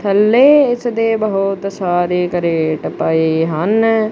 ਥਲੇ ਇਸ ਦੇ ਬਹੁਤ ਸਾਰੇ ਕ੍ਰੇਟ ਪਏ ਹਨ।